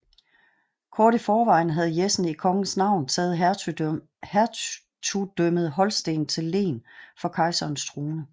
Kort i forvejen havde Jessen i kongens navn taget hertugdømmet Holsten til len for kejserens trone